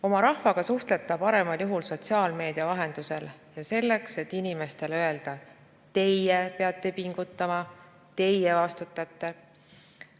Oma rahvaga suhtleb ta paremal juhul sotsiaalmeedia vahendusel ja selleks, et inimestele öelda: teie peate pingutama, teie vastutate.